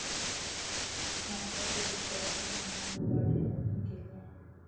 नाटकाचे दिग्दर्शन आनंद बुराड यांनी केले आहे